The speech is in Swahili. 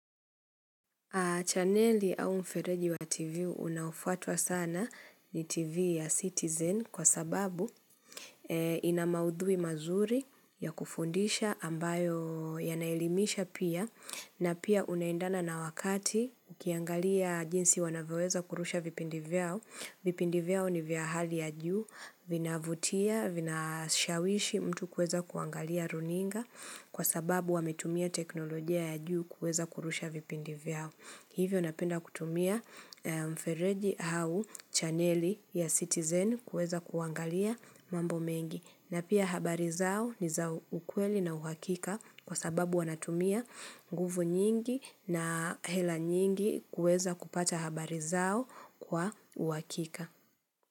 Chaneli au mfereji wa TV unaofuatwa sana ni TV ya Citizen kwa sababu ina maudhui mazuri ya kufundisha ambayo yanaelimisha pia na pia unaendana na wakati ukiangalia jinsi wanavyoweza kurusha vipindi vyao. Vipindi vyao ni vya hali ya juu, vinavutia, vinashawishi mtu kueza kuangalia runinga kwa sababu wametumia teknolojia ya juu kueza kurusha vipindi vyao. Hivyo napenda kutumia mfereji au chaneli ya citizen kueza kuangalia mambo mengi. Na pia habari zao ni za ukweli na uhakika kwa sababu wanatumia nguvu nyingi na hela nyingi kuweza kupata habari zao kwa uhakika.